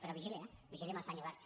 però vigili eh vigili amb el senyor wert